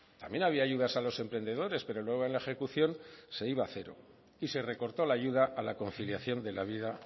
también había ayudas a los emprendedores pero luego en la ejecución se iba a cero y se recortó la ayuda a la conciliación de la vida